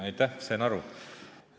Aitäh!